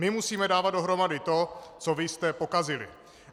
My musíme dávat dohromady to, co vy jste pokazili.